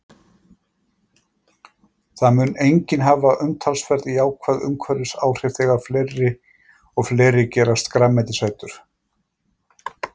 Það mun einnig hafa umtalsverð jákvæð umhverfisáhrif þegar fleiri og fleiri gerast grænmetisætur.